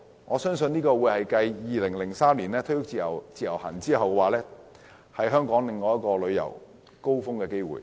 我相信這會是繼2003年推出自由行後，再一次讓香港旅遊業創高峰的機會。